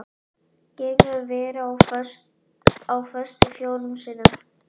Ég hef verið á föstu fjórum sinnum.